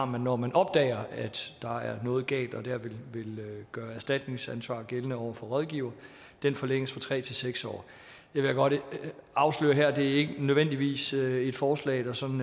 har når man opdager at der er noget galt og vil gøre erstatningsansvar gældende over for rådgiver forlænges fra tre til seks år jeg vil godt afsløre her at det ikke nødvendigvis er et forslag der sådan